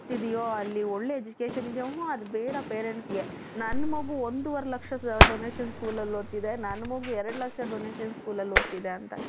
ಇದೆಯೋ ಅಲ್ಲಿ ಒಳ್ಳೆ education ಇದೆಯಾ ಊಹುo ಅದು ಬೇಡ parentsಗೆ ನನ್ನ ಮಗು ಒಂದೂವರೆ ಲಕ್ಷದ donation schoolಅಲ್ಲಿ ಓದುತ್ತಿದೆ ನನ್ನ ಮಗು ಎರಡು ಲಕ್ಷ donation schoolಅಲ್ಲಿ ಓದುತ್ತಿದೆ ಅಂತ